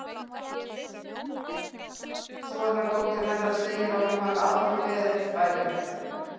sonardóttir hennar segir að hún hafi aldrei beðið þess bætur